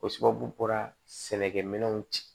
O sababu bɔra sɛnɛkɛminɛw ci